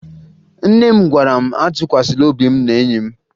Nne m gwara m atụkwasala obi m n'enyi m